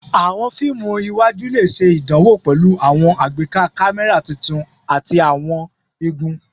Awọn fiimu iwaju le ṣe idanwo pẹlu awọn agbeka kamẹra tuntun ati awọn igun